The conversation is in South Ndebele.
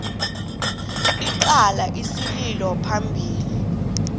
icala isililo phambili